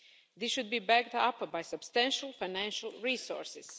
They should be backed up by substantial financial resources.